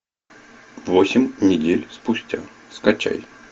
восемь недель спустя скачай